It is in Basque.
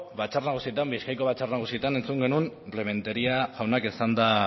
batzar nagusietan bizkaiako batzar nagusietan entzun genuen rementeria jaunak